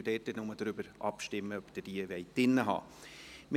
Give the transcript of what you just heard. Dort werden wir nur darüber abstimmen, ob Sie diese drin haben möchten.